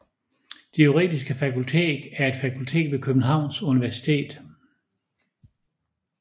Det Juridiske Fakultet er et fakultet ved Københavns Universitet